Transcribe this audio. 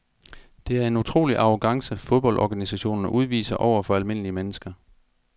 Det er en utrolig arrogance fodboldorganisationerne udviser over for almindelige mennesker.